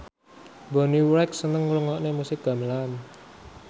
Bonnie Wright seneng ngrungokne musik gamelan